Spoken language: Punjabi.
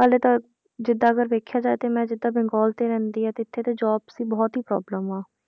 ਹਾਲੇ ਤਾਂ ਜਿੱਦਾਂ ਅਗਰ ਵੇਖਿਆ ਜਾਏ ਤੇ ਮੈਂ ਜਿੱਦਾਂ ਬੰਗਾਲ ਤੇ ਰਹਿੰਦੀ ਹਾਂ ਤੇ ਇੱਥੇ ਤੇ jobs ਦੀ ਬਹੁਤ ਹੀ problem ਆ।